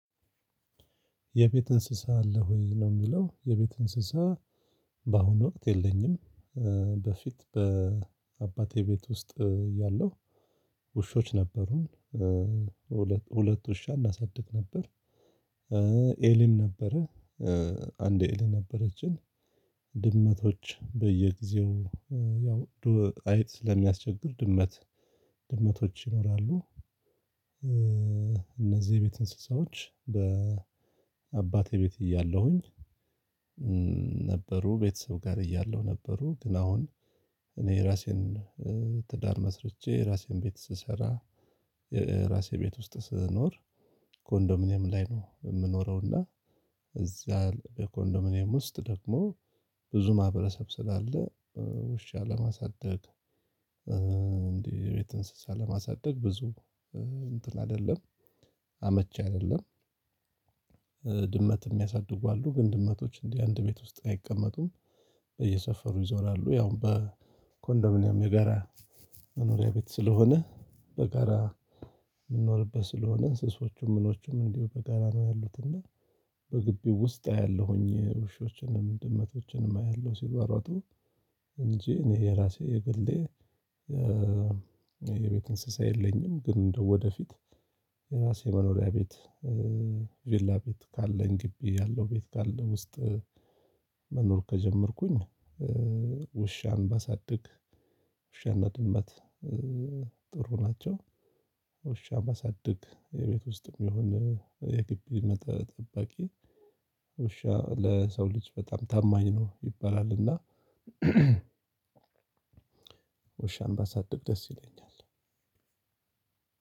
የቤት? እንስሳ አለህ ወይ ነው የሚለው የቤት እንስሳ በአሁኑ ወቅት የለኝም። በፊት በአባቴ ቤት ውስጥ እያለሁ። ውሾች ነበሩን ሁለት ሁለት ውሻ እናሳድግ ነበር። ኤሊም ነበረ። አንድ ኤሊ ነበረችን። ድመቶች በየጊዜው ያው ድሮ አይጥ ስለሚያስቸግር ድመት። ድመቶች ይኖራሉ። እነዚህ የቤት እንስሳዎች በአባቴ ቤት እያለሁኝ። ነበሩ ቤተሰብ ጋር እያለሁ ነበሩ ግን። አሁን እኔ የራሴን ትዳር መስርቼ የራሴን ቤት ስሰራ የራሴ ቤት ውስጥ ስኖር ኮንዶሚኒየም ላይ ነው የምኖረው። እና። እዚያ በኮንዶሚኒየም ውስጥ ደግሞ ብዙ ማህበረሰብ ስላለ ውሻ ለማሳደግ እንዲ የቤት እንስሳ ለማሳደግ ብዙ እንትን አይደለም አመቺ አይደለም። የሚያሳድጉ አሉ ግን ድመቶች እንዲህ አንድ ቤት ውስጥ አይቀመጡም። በየሰፈሩ ይዞራሉ ያው በኮንዶሚኒያም የጋራ መኖሪያ ቤት ስለሆነ በጋራ የምንኖርበት ስለሆነ እንስሳዎቹም ምኖቹም እንዲሁ በጋራ ነው ያሉት እና። በግቢው ውስጥ አያለሁኝ ውሾችንም ድመቶችንም አያለሁ ሲሯሯጡ እንጂ እኔ የራሴ የግሌ የቤት እንስሳ የለኝም። ግን እንደው ወደፊት የራሴ መኖሪያ ቤት ቪላ ቤት ካለኝ ግቢ ያለው ቤት ካለ ውስጥ መኖር ከጀመርኩኝ ውሻን ባሳድግ ውሻና ድመት ጥሩ ናቸው። ውሻ ባሳድግ የቤት ውስጥም ይሁን የግቢ መጠረ ጠባቂ ውሻ ለሰው ልጅ በጣም ታማኝ ነው ይባላል እና። ውሻን ባሳድግ ደስ ይለኛል።